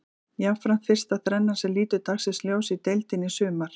Jafnframt fyrsta þrennan sem lítur dagsins ljós í deildinni í sumar.